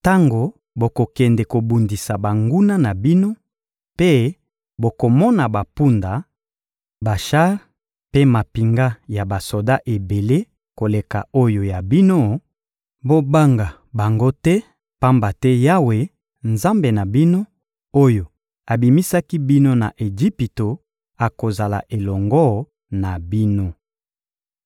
Tango bokokende kobundisa banguna na bino mpe bokomona bampunda, bashar mpe mampinga ya basoda ebele koleka oyo ya bino, bobanga bango te, pamba te Yawe, Nzambe na bino, oyo abimisaki bino na Ejipito, akozala elongo na bino.